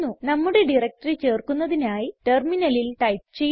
നമ്മുടെ ഡയറക്ടറി ചേർക്കുന്നതിനായി ടെർമിനലിൽ ടൈപ്പ് ചെയ്യുക